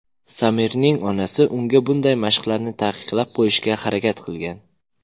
Samirning onasi unga bunday mashqlarni taqiqlab qo‘yishga harakat qilgan.